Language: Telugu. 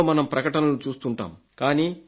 టీవీలో మనం ప్రకటనలు చూస్తుంటాము